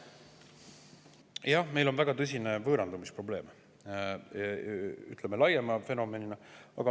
Jah, meil on laiema fenomenina väga tõsine võõrandumisprobleem.